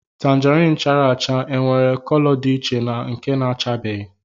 Tangerine chara acha e nwere cọlọ dị iche na nke na-achabeghi